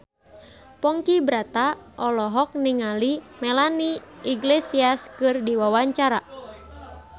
Ponky Brata olohok ningali Melanie Iglesias keur diwawancara